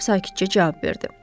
Qraf sakitcə cavab verdi.